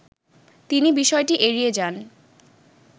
তিনি বিষয়টি এড়িয়ে যান